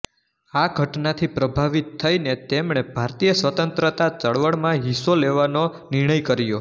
આ ઘટનાથી પ્રભાવિત થઈને તેમણે ભારતીય સ્વતંત્રતા ચળવળમાં હિસ્સો લેવાનો નિર્ણય કર્યો